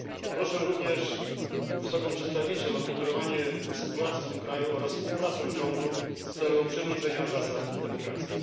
Proszę również, wysoką przedstawiciel, o monitorowanie sytuacji w tym kraju oraz współpracę rządu w celu przywrócenia zasad demokracji.